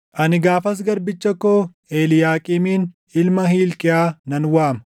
“Ani gaafas garbicha koo Eliiyaaqiimin ilma Hilqiyaa nan waama.